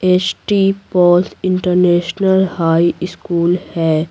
S T Paul's international high school है।